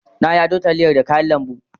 Na yi ado taliyar da kayan lambu.